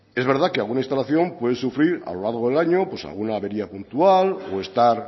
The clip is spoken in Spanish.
es verdad que alguna instalación puede sufrir a lo largo del año alguna avería puntual o estar